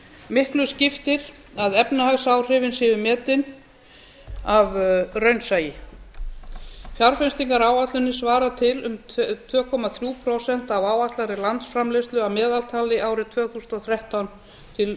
miklu skiptir að efnahagsáhrifin séu metin af raunsæi fjárfestingaráætlunin svarar til um tvö komma þrjú prósent af áætlaðri landsframleiðslu að meðaltali árin tvö þúsund og þrettán til